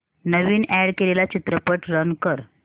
नवीन add केलेला चित्रपट run कर